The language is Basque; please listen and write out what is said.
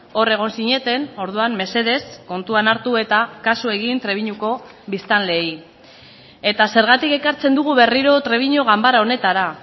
hor egon zineten orduan mesedez kontuan hartu eta kasu egin trebiñuko biztanleei eta zergatik ekartzen dugu berriro trebiñu ganbara honetara